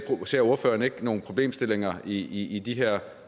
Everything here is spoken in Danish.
ser ordføreren ikke nogle problemstillinger i i de her